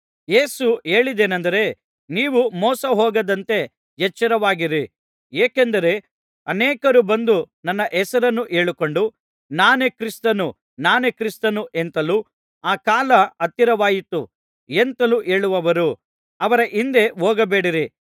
ಯೇಸು ಹೇಳಿದ್ದೇನಂದರೆ ನೀವು ಮೋಸಹೋಗದಂತೆ ಎಚ್ಚರವಾಗಿರಿ ಏಕೆಂದರೆ ಅನೇಕರು ಬಂದು ನನ್ನ ಹೆಸರನ್ನು ಹೇಳಿಕೊಂಡು ನಾನೇ ಕ್ರಿಸ್ತನು ನಾನೇ ಕ್ರಿಸ್ತನು ಎಂತಲೂ ಆ ಕಾಲ ಹತ್ತಿರವಾಯಿತು ಎಂತಲೂ ಹೇಳುವರು ಅವರ ಹಿಂದೆ ಹೋಗಬೇಡಿರಿ